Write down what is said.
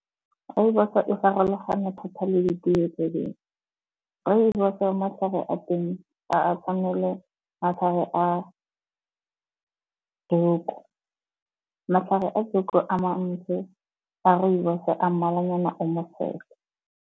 Rooibos-o e farologane thata le ditee tse dingwe. Rooibos-o matlhare a teng ga a tshwane le matlhare a Joko. Matlhare a Joko a mantsi, a rooibos-o a mmalwanyana .